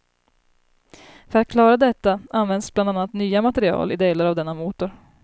För att klara detta används bland annat nya material i delar av denna motor.